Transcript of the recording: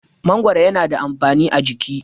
mangoro yana da amfani a jiki